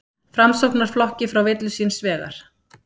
Framsóknarflokki frá villu síns vegar.